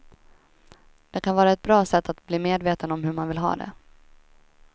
Det kan vara ett bra sätt att bli medveten om hur man vill ha det.